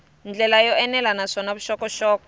ndlela yo enela naswona vuxokoxoko